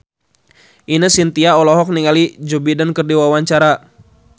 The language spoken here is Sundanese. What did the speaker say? Ine Shintya olohok ningali Joe Biden keur diwawancara